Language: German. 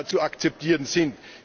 zu akzeptieren sind.